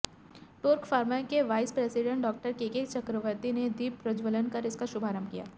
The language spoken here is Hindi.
टोर्क फार्मा के vice president Dr KK Chakraborty ने दीप प्रज्वलन कर इसका शुभारंभ किया